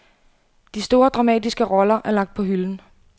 De store dramatiske roller er lagt på hylden.